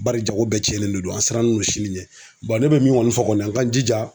Bari jago bɛɛ cɛnnen don an sirannen don sini ɲɛbon ne bɛ min kɔni fɔ kɔni an k'an jija.